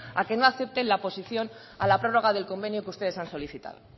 a que no acepten la posición a la prórroga del convenio que ustedes han solicitado